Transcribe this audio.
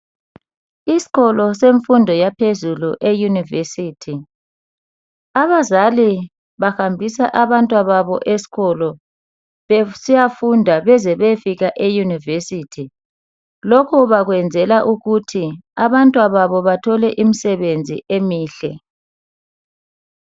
Isikolo semfundo yaphezulu eUnirvesity abazali bahambisa abantwana babo esikolo besiyafunda beze beyefika eUnirvesity. Lokho bakwenzela ukuthi abantwana babo bathole imisebenzi emihle.